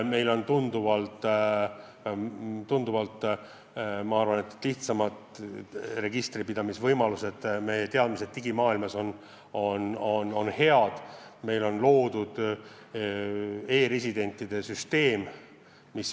Meil on tunduvalt lihtsamad registri pidamise võimalused, meie teadmised digimaailmas on head, meil on loodud e-residentide süsteem.